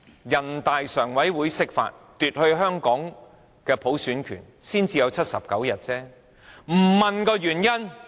人大釋法，奪去香港的普選權，才導致79日佔中。